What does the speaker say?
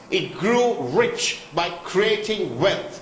It grew rich by creating wealth.